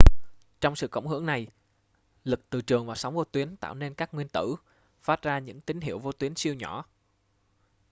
trong sự cộng hưởng này lực từ trường và sóng vô tuyến tạo nên các nguyên tử phát ra những tín hiệu vô tuyến siêu nhỏ